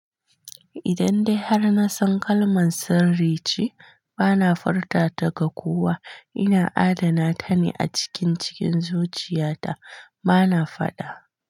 Idan dai har na san kalman sirri ce, bana furta ta ga kowa. Ina adana ta ne a cikin cikin zuciya ta bana faɗa.